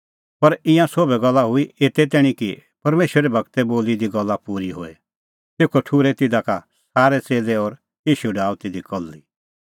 पर ईंयां सोभै गल्ला हुई एते तैणीं कि परमेशरे गूरै बोली दी गल्ला पूरी होए तेखअ ठुर्है तिधा का सारै च़ेल्लै और ईशू डाहअ तिधी कल्ही